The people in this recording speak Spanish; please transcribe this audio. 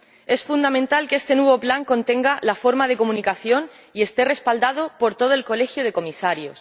Es fundamental que este nuevo Plan contenga la forma de comunicación y esté respaldado por todo el colegio de comisarios.